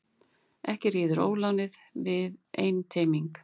Ekki ríður ólánið við einteyming.